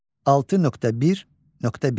6.1.1.